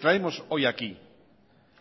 traemos hoy aquí